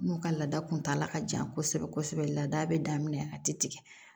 N'u ka laada kuntala ka jan kosɛbɛ kosɛbɛ laada be daminɛ a te tigɛ